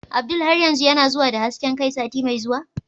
Abdul har yanzu yana zuwa da hasken kai sati mai zuwa?